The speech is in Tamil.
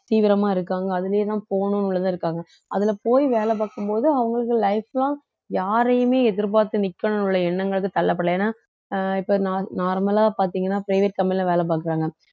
தீவிரமா இருக்காங்க அதுலையேதான் போகணும் தான் இருக்காங்க அதுல போய் வேலை பார்க்கும் போது அவங்களுக்கு life long யாரையுமே எதிர்பார்த்து நிக்கணுன்ற எண்ணங்களுக்கு தள்ளப்படலை ஏன்னா அஹ் இப்ப nor~ normal லா பார்த்தீங்கன்னா private company ல வேலை பார்க்கறாங்க